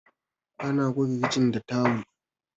ana goge kicin ta tawul